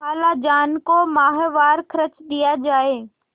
खालाजान को माहवार खर्च दिया जाय